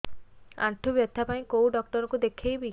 ଆଣ୍ଠୁ ବ୍ୟଥା ପାଇଁ କୋଉ ଡକ୍ଟର ଙ୍କୁ ଦେଖେଇବି